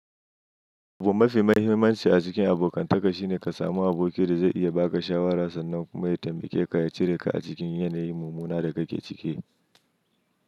Abubuwa mafi mahimmanci a cikin abokantaka shine ka samu abokiya da zai iya ba ka shawarar sannan kuma ya taimake ka ya cire ka a cikin yanayin mummunan da ka ke ciki.